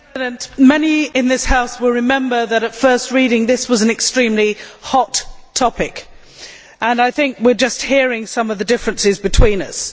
Mr President, many in this House will remember that at first reading, this was an extremely hot topic, and I think we are hearing only some of the differences between us.